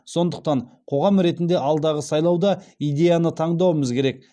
сондықтан қоғам ретінде алдағы сайлауда идеяны таңдауымыз керек